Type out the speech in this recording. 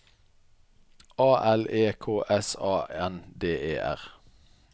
A L E K S A N D E R